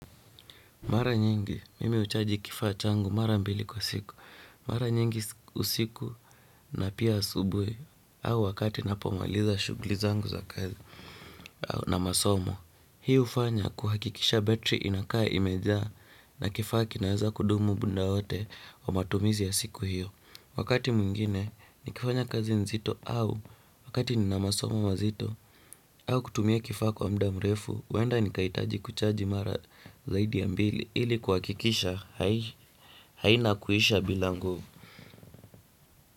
Mara nyingi, mimi uchaji kifa changu mara mbili kwa siku. Mara nyingi usiku na pia asubuwi au wakati napomaliza shugli angu za kazi na masomo. Hii ufanya kuhakikisha betri inaka imeja na kifa kinaaza kudumu bunda wote wa matumizi ya siku hiyo. Wakati muingine, nikifanya kazi nzito au wakati ni na masomo mazito au kutumia kifa kwa mda mrefu. Wenda nikaitaji kuchaji mara zaidi mbili ili kwakikisha haina kuhisha bila nguvu.